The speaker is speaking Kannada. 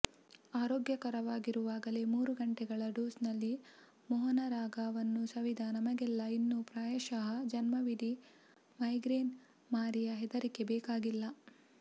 ಆರೋಗ್ಯಕರವಾಗಿರುವಾಗಲೇ ಮೂರು ಗಂಟೆಗಳ ಡೋಸ್ನಲ್ಲಿ ಮೋಹನರಾಗವನ್ನು ಸವಿದ ನಮಗೆಲ್ಲ ಇನ್ನು ಪ್ರಾಯಶಃ ಜನ್ಮವಿಡೀ ಮೈಗ್ರೇನ್ ಮಾರಿಯ ಹೆದರಿಕೆ ಬೇಕಾಗಿಲ್ಲ